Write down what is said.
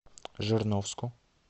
жирновску